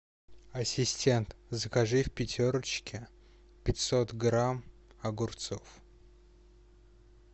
ассистент закажи в пятерочке пятьсот грамм огурцов